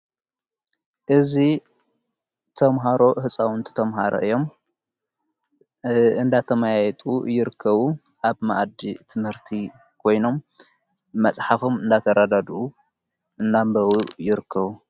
እዙ ተምሃሮ ሕፃውንቲ ተምሃሮ እዮም እንዳተማያየጡ ይርከቡ ኣብ ማእዲ ትመርቲ ኮይኖም መጽሓፎም እንዳተራዳድኡ እናንበቡ ይርከቡ::